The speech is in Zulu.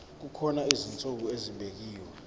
kukhona izinsuku ezibekiwe